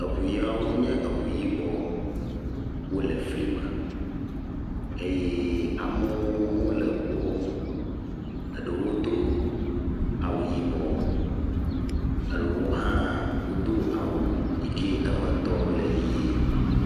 Eŋu yawo nye eŋu yibɔ. Wole flime eye amewo hã wole ŋuɔ ŋu. eɖewo do awu yibɔ, eɖewo hã wodo awu yi ke eme tɔ le yie.